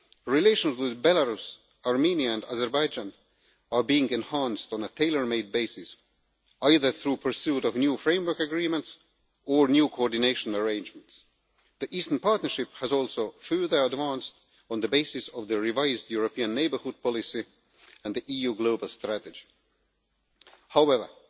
Relations with Belarus, Armenia and Azerbaijan are being enhanced on a tailor made basis, either through the pursuit of new Framework Agreements or through new coordination arrangements. The Eastern Partnership has also further advanced on the basis of the revised European neighbourhood policy and the EU global strategy. However,